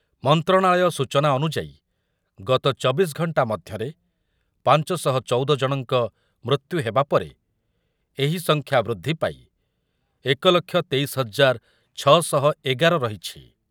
ମନ୍ତ୍ରଣାଳୟ ସୂଚନା ଅନୁଯାୟୀ ଗତ ଚବିଶ ଘଣ୍ଟା ମଧ୍ୟରେ ପାଞ୍ଚ ଶହ ଚଉଦ ଜଣଙ୍କ ମୃତ୍ୟୁ ହେବା ପରେ ଏହି ସଂଖ୍ୟା ବୃଦ୍ଧି ପାଇ ଏକ ଲକ୍ଷ ତେଇଶ ହଜାର ଛଅ ଶହ ଏଗାର ରହିଛି।